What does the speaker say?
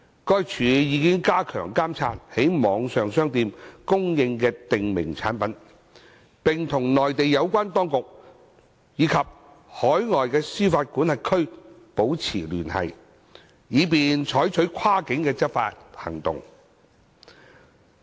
該署已加強監察在網上商店供應的訂明產品，並與內地有關當局及海外司法管轄區保持聯繫，以便採取跨境執法行動。